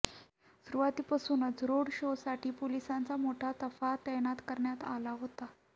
सुरुवातीपासूनच रोड शोसाठी पोलिसांचा मोठा ताफा तैनात करण्यात आला होता